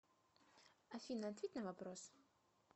афина ответь на вопрос